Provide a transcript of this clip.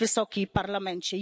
Wysoki Parlamencie!